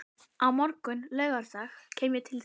Á morgun, laugardag, kem ég til þín.